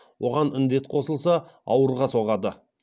оған індет қосылса ауырға соғады